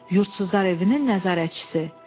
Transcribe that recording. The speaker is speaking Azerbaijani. Yurdsuzlar evinin nəzarətçisi.